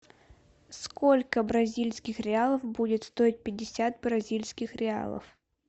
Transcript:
сколько бразильских реалов будет стоить пятьдесят бразильских реалов